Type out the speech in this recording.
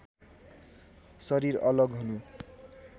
शरीर अलग हुनु